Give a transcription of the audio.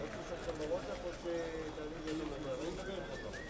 Yəni saat hər dəqiqədə, hər ayda.